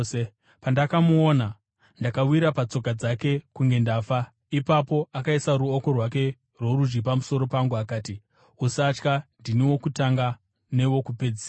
Pandakamuona, ndakawira patsoka dzake kunge ndafa. Ipapo akaisa ruoko rwake rworudyi pamusoro pangu akati, “Usatya. Ndini Wokutanga neWokupedzisira.